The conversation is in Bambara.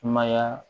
Sumaya